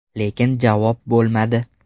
Lekin javob bo‘lmadi.